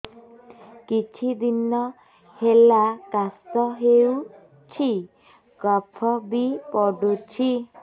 କିଛି ଦିନହେଲା କାଶ ହେଉଛି କଫ ବି ପଡୁଛି